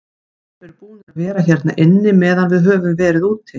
Þeir eru búnir að vera hérna inni meðan við höfum verið úti.